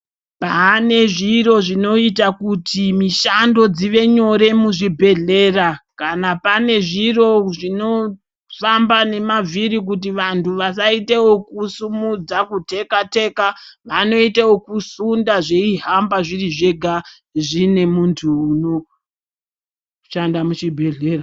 Pane zviro zvinoita kuti mishando dzive nyore muzvibhedhlera kana pane zviro zvinofamba nemavhiri kuti vantu vasaite okusimudza kuteka teka vanoite okusunda zveihamba zviri zvega zvine muntu unoshanda muchibhedhlera.